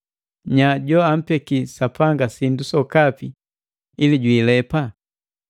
Nya joampeki Sapanga sindu sokapi ili jwiilepaje?”